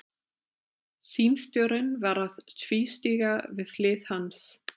Símstjórinn var að tvístíga við hlið hans.